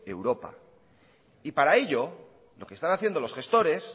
europa y para ello lo que están haciendo los gestores